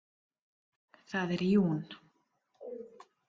Það er jún.